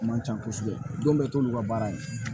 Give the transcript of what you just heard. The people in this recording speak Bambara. Man ca kosɛbɛ don bɛɛ t'olu ka baara ye